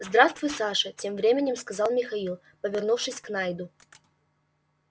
здравствуй саша тем временем сказал михаил повернувшись к найду